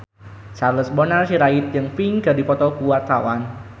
Charles Bonar Sirait jeung Pink keur dipoto ku wartawan